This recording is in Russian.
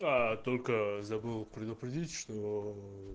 только забыл предупредить что